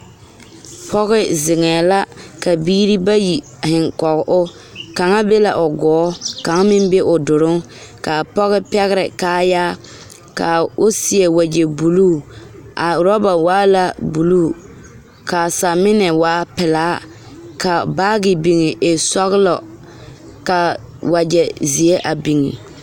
pɔge zeŋee la ka biiri bayi zeŋ koge o kaŋ be la o kɔɔ ka kaŋ be o duluŋ kaa o pɛgrɛɛ kaayaar ka o seɛ wagye buluu a orɔba waa la buluu kaa saminɛ waa pelaa ka baagi biŋ e sɔɔlɔ kaa wagye zeɛ a biŋ